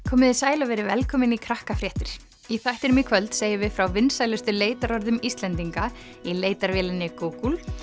komiði sæl og verið velkomin í í þættinum í kvöld segjum við frá vinsælustu leitarorðum Íslendinga í leitarvélinni Google